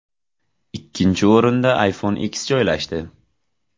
Ikkinchi o‘rinda iPhone X joylashdi.